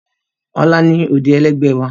Ọlá ni òde ẹlẹ́gbẹ́ wa